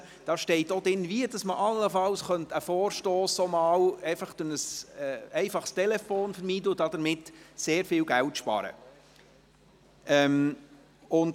Es steht auch drin, wie man allenfalls einen Vorstoss auch durch ein einfaches Telefonat vermeiden und damit viel Geld sparen könnte.